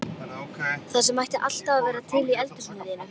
Það sem ætti alltaf að vera til í eldhúsinu þínu!